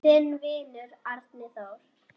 Þinn vinur, Árni Þór.